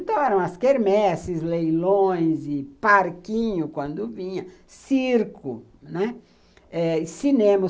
Então, eram as quermesses, leilões e parquinho quando vinha, circo, né, cinema.